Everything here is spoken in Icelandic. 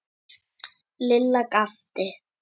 Lilla gapti.